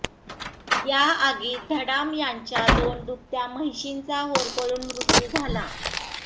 या आगीत धडाम यांच्या दोन दुभत्या म्हैशींचा होरपळून मृत्यू झाला